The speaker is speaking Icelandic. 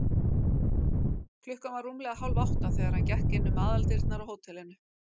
Klukkan var rúmlega hálfátta, þegar hann gekk inn um aðaldyrnar á hótelinu.